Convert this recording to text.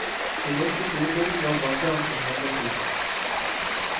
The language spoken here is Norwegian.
Det norske storting var blant dem som handlet hurtig.